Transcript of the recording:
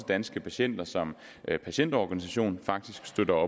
danske patienter som patientorganisation faktisk støtter